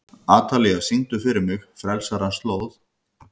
Atalía, syngdu fyrir mig „Frelsarans slóð“.